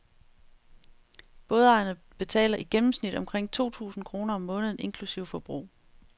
Bådejerne betaler i gennemsnit omkring to tusind kroner om måneden inklusive forbrug.